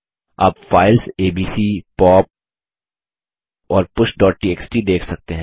आप files ABC pop और pushटीएक्सटी देख सकते हैं